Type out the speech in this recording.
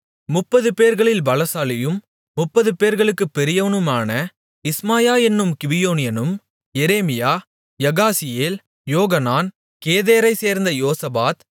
முப்பதுபேர்களில் பலசாலியும் முப்பதுபேர்களுக்குப் பெரியவனுமான இஸ்மாயா என்னும் கிபியோனியனும் எரேமியா யகாசியேல் யோகனான் கெதேரைச்சேர்ந்த யோசபாத்